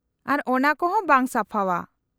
-ᱟᱨ ᱚᱱᱟ ᱠᱚᱦᱚᱸ ᱵᱟᱝ ᱥᱟᱯᱷᱟᱣᱟ ᱾